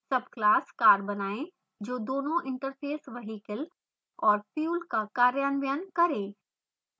subclass car बनाएँ जो दोनों interfaces vehicle और fuel का कार्यान्वयन car